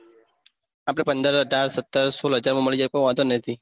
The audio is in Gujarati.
આપડે પંદર હાજર સત્તર સોળ હાજર માં મળી જાય કોઈ વાંધો નથી